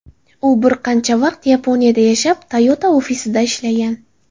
U bir qancha vaqt Yaponiyada yashab, Toyota ofisida ishlagan.